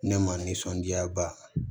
Ne ma nisɔndiya ba